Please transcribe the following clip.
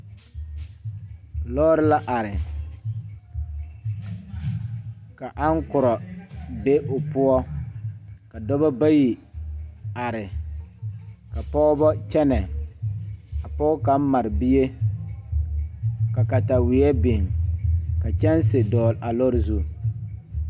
Lɔɔre la are ka ankorɔ be o poɔ ka dɔba bayi are ka pɔgeba kyɛnɛ a pɔge kaŋ mare bie ka kataweɛ biŋ ka kyɛnse dɔgle a lɔre zu.